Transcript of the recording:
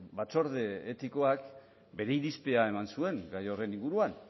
batzorde etikoak bere irizpidea eman zuen gai horren inguruan